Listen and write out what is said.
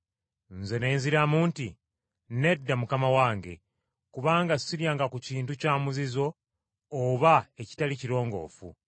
“Nze ne nziramu nti, ‘Nedda, Mukama wange, kubanga siryanga ku kintu kya muzizo oba ekitali kirongoofu.’